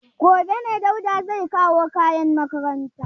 Gobe ne Dauda zai kawo kayan makaranta.